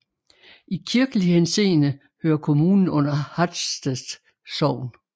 I kirkelig henseende hører kommunen under Hatsted Sogn